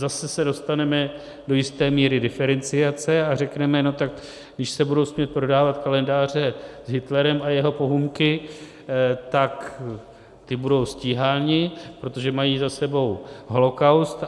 Zase se dostaneme do jisté míry diferenciace a řekneme: Tak když se budou smět prodávat kalendáře s Hitlerem a jeho pohůnky, tak ti budou stíháni, protože mají za sebou holocaust.